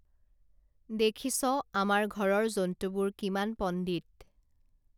দেখিছ আমাৰ ঘৰৰ জন্তুবোৰ কিমান পণ্ডিত